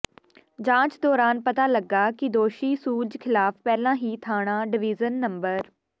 ਜਾਂਚ ਦੌਰਾਨ ਪਤਾ ਲੱਗਾ ਕਿ ਦੋਸ਼ੀ ਸੂਰਜ ਖਿਲਾਫ ਪਹਿਲਾਂ ਹੀ ਥਾਣਾ ਡਵੀਜ਼ਨ ਨੰ